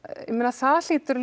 það hlýtur